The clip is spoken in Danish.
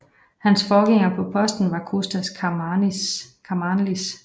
Hans forgænger på posten var Kostas Karamanlis